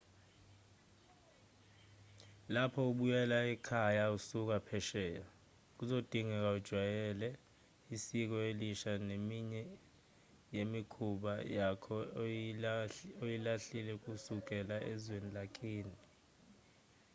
lapho ubuyela ekhaya usuka phesheya kuzodingeka ujwayele isiko elisha neminye yemikhuba yakho oyilahlile kusukela ezweni lakini